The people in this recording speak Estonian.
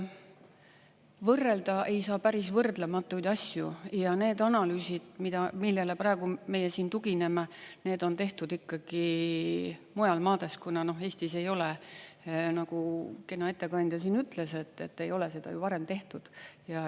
Võrrelda ei saa päris võrdlematuid asju ja need analüüsid, millele meie siin tugineme, need on tehtud ikkagi mujal maades, kuna Eestis ei ole, nagu kena ettekandja siin ütles, et ei ole seda ju varem tehtud.